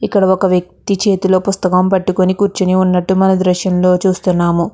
ఇక్కడ ఒక వెక్తి తి చేతుల్లో పుస్తకం పాతుకొని కూర్చొని ఉన్నటు మనం ఈ దృశ్యం లో చూస్తున్నాము.